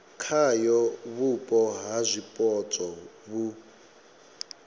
khayo vhupo ha zwipotso vhu